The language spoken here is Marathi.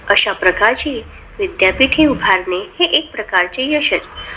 अश्या प्रकारची विद्यापीठे उभारणे, हे एक प्रकारचे यशचं.